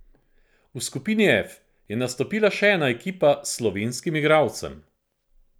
V skupini F je nastopila še ena ekipa s slovenskim igralcem.